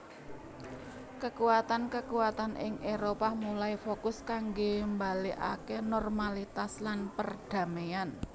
Kekuatan kekuatan ing Éropah mulai fokus kanggo balikaké normalitas lan perdaméan